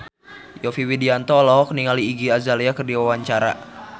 Yovie Widianto olohok ningali Iggy Azalea keur diwawancara